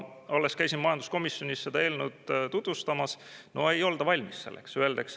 Alles käisin majanduskomisjonis seda eelnõu tutvustamas – no ei olda valmis selleks!